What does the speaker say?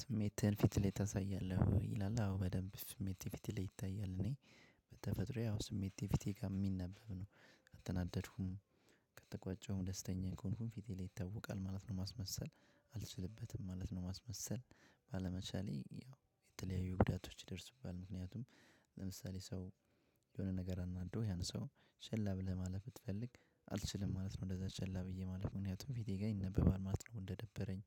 ስሜትህን ፊትህ ላይ ታሳያለህ ወይ ይላል? አዎ በደንብ ስሜቴ ፊቴ ላይ ይታያል። እኔ በተፈጥሮዬ ያው ስሜቴ ፊቴ ጋር ሚነበብ ነው። ከተናደድኩም ከተቆጨሁም ደስተኛ ከሆንኩም ፊቴ ላይ ይታወቃል ማለት ነው። ማስመሰል አልችልበትም ማለት ነው። ማስመሰል ባለመቻሌ ያው የተለያዩ ጉዳቶች ይደርስብሃል። ምክንያቱም ለምሳሌ ሰው የሆነ ነገር አናዶህ ያን ሰው ችላ ብለህ ማለፍ ብትፈልግ አልችልም ማለት ነው። እንደዛ ችላ ብዬ ማለፍ ምክንያቱም ፊቴ ጋር ይነበባል ማለት ነው። እንደደበረኝ